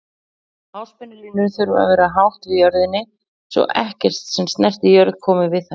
Háspennulínur þurfa að vera hátt yfir jörðinni svo ekkert sem snertir jörð komi við þær.